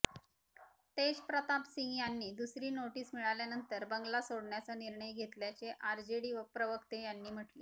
तेजप्रताप यांनी दुसरी नोटीस मिळाल्यानंतर बंगला सोडण्याचा निर्णय घेतल्याचे आरजेडी प्रवक्ते यांनी म्हटले